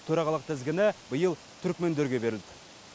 төрағалық тізгіні биыл түрікмендерге берілді